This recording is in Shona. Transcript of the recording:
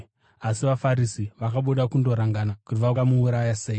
Asi vaFarisi vakabuda kundorangana kuti vangamuuraya sei.